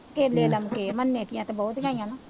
ਕੇਲੇ ਲਮਕੇ ਮੰਨੇ ਕੀਆਂ ਤਾਂ ਬਹੁਤ ਲਾਈਆਂ ਮੈਂ